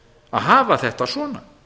að hafa þetta svona